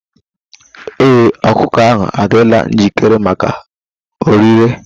Ee, ọkụkọ ahụ adịla njikere maka ọrịre.